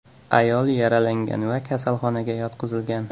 Ayol yaralangan va kasalxonaga yotqizilgan.